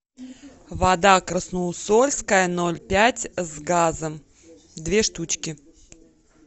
вода красноусольская ноль пять с газом две штучки